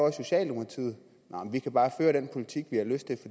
i socialdemokratiet vi kan bare føre den politik vi har lyst til